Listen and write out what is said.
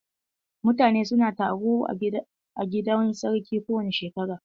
Mutane su na taro a gidan sarkin kowane ƙarshen shekara.